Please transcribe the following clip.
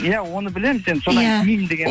иә оны білемін